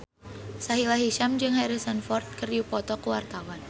Sahila Hisyam jeung Harrison Ford keur dipoto ku wartawan